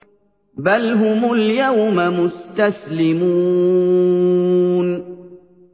بَلْ هُمُ الْيَوْمَ مُسْتَسْلِمُونَ